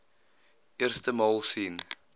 eerste maal sien